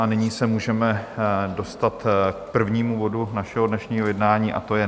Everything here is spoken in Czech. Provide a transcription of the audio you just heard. A nyní se můžeme dostat k prvnímu bodu našeho dnešního jednání, a to je